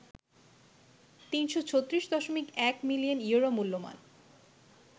৩৩৬.১ million euro মূল্যমান